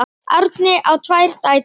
Árni á tvær dætur.